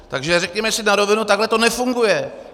Takže řekněme si na rovinu, takhle to nefunguje.